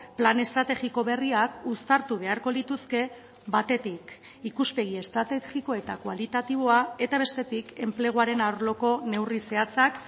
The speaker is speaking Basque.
plan estrategiko berriak uztartu beharko lituzke batetik ikuspegi estrategiko eta kualitatiboa eta bestetik enpleguaren arloko neurri zehatzak